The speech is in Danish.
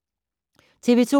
TV 2